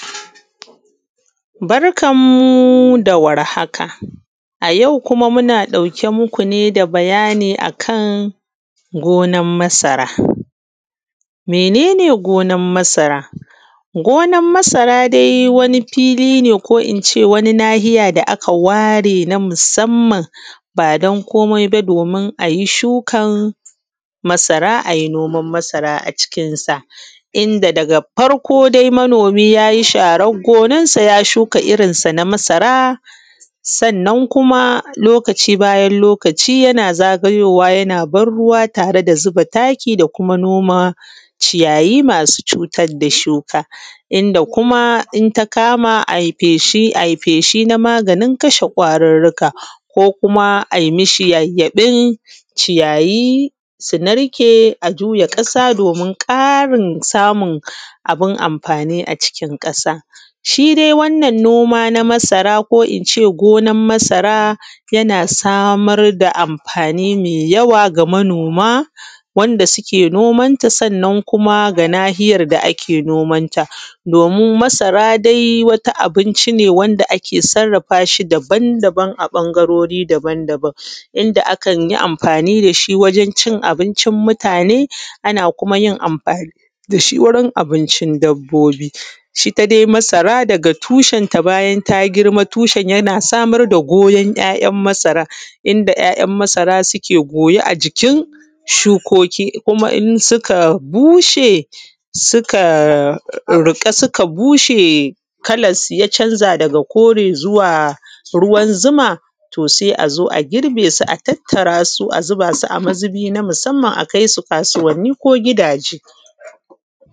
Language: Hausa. Barkan mu da warhaka. A yau kuma muna ɗauke muku da bayani akan gonar masara. Mene ne gonsr masara? Gonar masara dai wani fili ne ko ince wani nahiya da aka ware na musamman badan komai ba domin ayi shukan masara ayi noman masara a cikin sa inda daga farko sai manomi yayi sharan gonar say a shuka irrin san a masara sannan kuma lokaci bayan lokaci yana zagayowa yana ban ruwa tare da zuba taki da kuma noman ciyayi masu cutar da shuka. Inda kuma inta kama ai feshi ai feshi na maganin kashe kwarurruka ko kuma ai mishi yayyaɓe ciyayi su narke a jiya ƙasa domin ƙarin samun abun amfani a xikin ƙasa. Shidai wannan noma na masara ko ince gonar masara yana samar da amfani mai yawa ga manoma dake noman ta sannan kuma ga nahiyar da ake nomanta, domin masara dai wata abinci ne wanda ake sarrafashi daban daban a ɓangarori baban baban. Inda akanyi amfani dasgi wajen cin abincin mutane, ana kuma yinamfani dashi wurun abincin dabbobi, itta dai masara dafa tshen ta bayan ta girma tushen yana samar da ‘ya’ ‘yan’ masaran inda ‘ya’ ‘yan’ masara suke goye a jikin shukokisuka bushe suka riƙa suka bushe, ya canza daga kore zuwa ruwan zuma to sai azo a girbe su a tattarasu a zuba su a mazubi na musamman a kaisu kasuwanni ko gidaje.